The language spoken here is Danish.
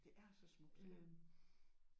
Det er så smukt ja